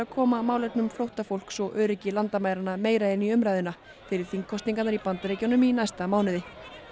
koma málefnum flóttafólks og öryggi landamæranna meira inn í umræðuna fyrir þingkosningarnar í Bandaríkjunum í næsta mánuði